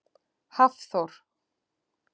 Hafþór